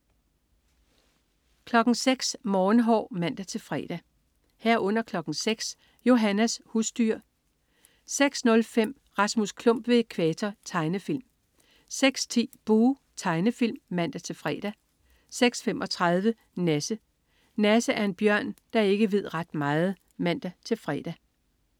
06.00 Morgenhår (man-fre) 06.00 Johannas husdyr (man-fre) 06.05 Rasmus Klump ved Ækvator. Tegnefilm 06.10 Buh! Tegnefilm (man-fre) 06.35 Nasse. Nasse er en bjørn, der ikke ved ret meget (man-fre)